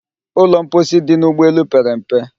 Ụlọ mposi dị n'ụgbọ elu pere mpe